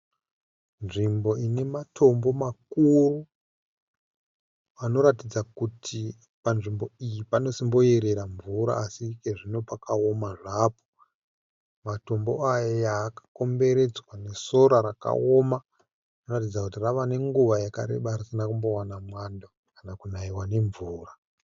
Nzvimbo ine matombo makuru anoratidza kuti panzvimbo iyi panosimboyerera mvura asi ikezvino pakaoma zvapo. Matombo aya akakomberedzwa nesora rakaoma rinoratidza kuti rave nenguva yakareba risina kumbowana mwando kana kunaiwa nemvura.